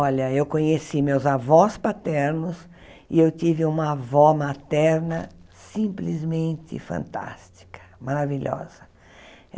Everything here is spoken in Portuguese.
Olha, eu conheci meus avós paternos e eu tive uma avó materna simplesmente fantástica, maravilhosa.